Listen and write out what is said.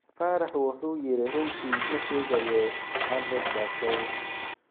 Faarax wuxuu yiri: “Runtii ma sheegayo, 100%.